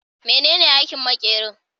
Menene aikin makerin?